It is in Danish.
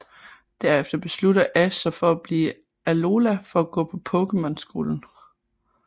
Derefter beslutter Ash sig for at blive i Alola for at gå på Pokémon Skolen